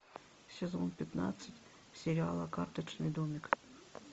сезон пятнадцать сериала карточный домик